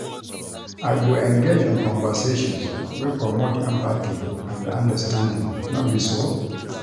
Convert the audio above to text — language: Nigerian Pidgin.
I go engage in conversations wey promote empathy and understanding, no be so?